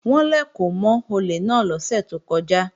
Wọ́n lèkò mọ́ olè náà lọ́sẹ̀ tó kọjá